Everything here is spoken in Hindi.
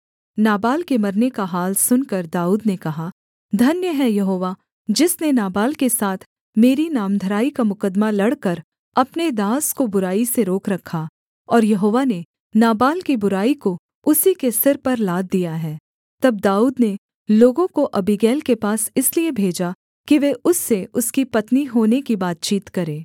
नाबाल के मरने का हाल सुनकर दाऊद ने कहा धन्य है यहोवा जिसने नाबाल के साथ मेरी नामधराई का मुकद्दमा लड़कर अपने दास को बुराई से रोक रखा और यहोवा ने नाबाल की बुराई को उसी के सिर पर लाद दिया है तब दाऊद ने लोगों को अबीगैल के पास इसलिए भेजा कि वे उससे उसकी पत्नी होने की बातचीत करें